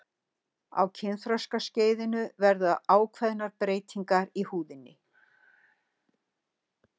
á kynþroskaskeiðinu verða ákveðnar breytingar í húðinni